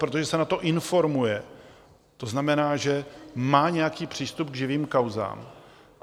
Protože se na to informuje, to znamená, že má nějaký přístup k živým kauzám.